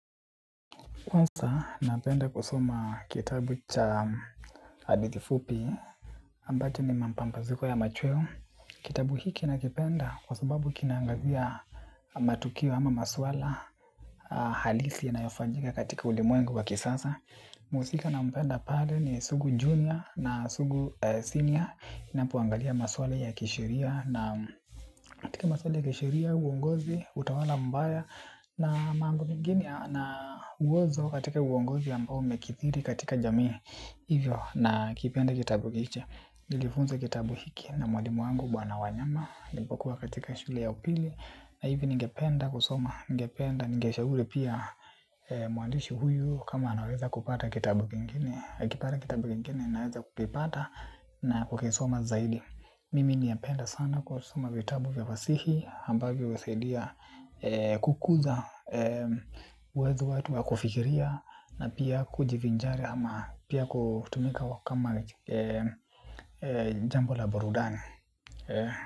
Kwanza, napenda kusoma kitabu cha hadithi fupi, ambayo ni mapampazuko ya machweo. Kitabu hiki nakipenda kwa sababu kinaangazia matukio ama maswala, halisi yanayofanyika katika ulimwengu wa kisasa. Mhusika nampenda pale ni sugu junior na sugu senior inapoangalia maswala ya kisheria. Na katika maswala ya kisheria, uongozi, utawala mbaya na mambo mengine na uozo katika uongozi ambao umekithiri katika jamii. Hivyo nakipenda kitabu hicho. Nilifunza kitabu hiki na mwadimu wangu bwana wanyama nipokuwa katika shule ya upili na hivyo ningependa kusoma. Ningependa ningeshauri pia mwandishi huyu kama anaweza kupata kitabu kingine akipata kitabu kingine naweza kuvipata na kukisoma zaidi. Mimi nimependa sana kusoma vitabu vya fasihi ambavyo huwasaidia kukuza uwezo wetu wa kufikiria. Na pia kujivinjari ama pia kutumika kama jambo la burudani.